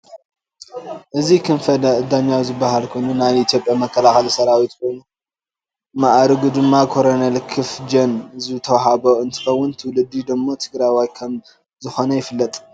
እዚ ክንፈ ደኛው ዝበሃል ኮይኑ ናይ ኢትዮጰያ መከላከሊ ሰራዊት ኮይኑ ማእርጉ ድማ ኮኔርል ክፍ ደኝ ዝተሃቦ እንትከውን ትውልዲ ደሞ ትግራዋይ ከም ዝከነ ይፍለጥ።